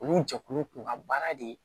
Olu jɛkulu kun ka baara de ye